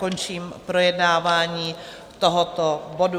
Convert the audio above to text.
Končím projednávání tohoto bodu.